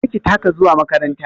Kar ki taka zuwa makaranta!